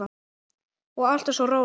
Og alltaf svo róleg.